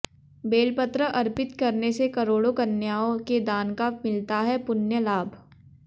बेलपत्र अर्पित करने से करोड़ों कन्याओं के दान का मिलता है पुण्य लाभ